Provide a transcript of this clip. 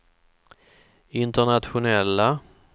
internationella